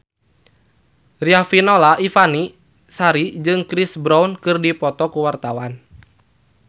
Riafinola Ifani Sari jeung Chris Brown keur dipoto ku wartawan